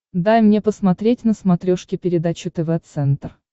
дай мне посмотреть на смотрешке передачу тв центр